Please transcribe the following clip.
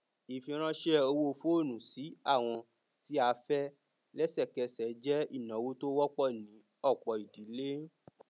ìfiránṣé owó foonu sí àwọn tí a fẹ lẹsẹkẹsẹ jẹ ináwó tí wọpọ ní ọpọ ìdílé